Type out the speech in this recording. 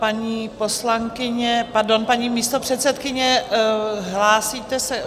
Paní poslankyně, pardon, paní místopředsedkyně, hlásíte se?